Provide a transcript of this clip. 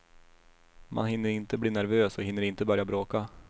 Man hinner inte bli nervös och hinner inte börja bråka.